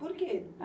Por quê?